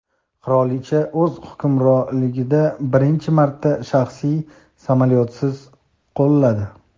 Qirolicha o‘z hukmronligida birinchi marta shaxsiy samolyotsiz qoladi.